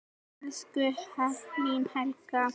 Elsku Elín Helga.